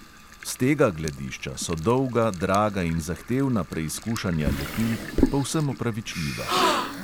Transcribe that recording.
S tega gledišča so dolga, draga in zahtevna preizkušanja lepil povsem opravičljiva.